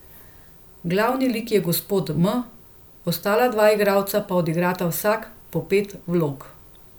Glavni lik je gospod M, ostala dva igralca pa odigrata vsak po pet vlog.